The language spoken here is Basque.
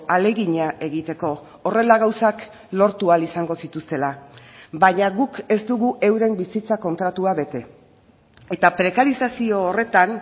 ahalegina egiteko horrela gauzak lortu ahal izango zituztela baina guk ez dugu euren bizitza kontratua bete eta prekarizazio horretan